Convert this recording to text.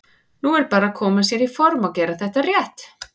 Nú er bara að koma sér í form og gera þetta rétt.